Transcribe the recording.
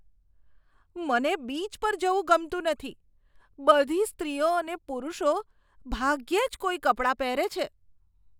મને બીચ પર જવું ગમતું નથી. બધી સ્ત્રીઓ અને પુરુષો ભાગ્યે જ કોઈ કપડાં પહેરે છે.